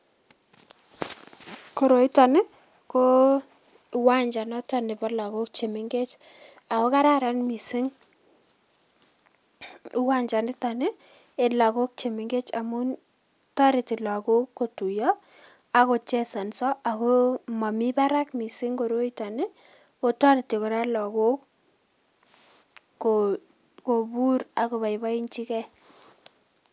Koroitoni koo kiwanja neboo lokok chemeng'ech, akoo kararan mising kiwanjaniton ii en lokok chemeng'ech amuun toretii lokok kotuyoo ak kochesonso akoo momii barak mising koroiton akoo toretii kora lokok kobuur ak koboiboenjikee.